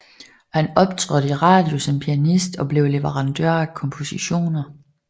Han optrådte i radio som pianist og blev leverandør af kompositioner